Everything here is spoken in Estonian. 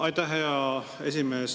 Aitäh, hea esimees!